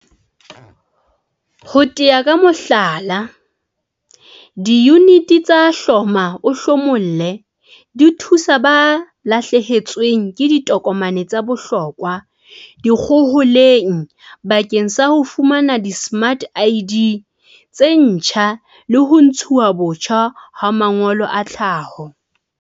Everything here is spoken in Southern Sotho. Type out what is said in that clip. Ho tea ka mohlala, diyuniti tsa hloma-o-hlomolle di thusa ba lahlehetsweng ke ditokomane tsa bohlokwa dikgoholeng bakeng sa ho fumana dismart ID tse ntjha le ho ntshuwa botjha ha mangolo a tlhaho.